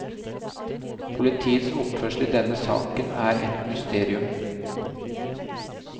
Politiets oppførsel i denne saken er et mysterium.